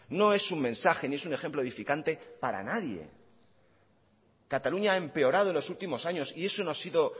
no es un mensaje ni es un ejemplo edificante para nadie cataluña ha empeorado en los últimos años y eso no ha sido